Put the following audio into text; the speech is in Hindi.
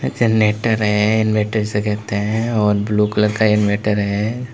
जेनरेटर है इनवर्टर जिसे कहते है और ब्लू कलर का इनवर्टर है।